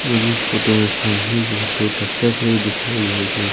मुझे इस फोटो मे सामने रोड दो ट्रैक्टर खड़े दिखाई दे रहे--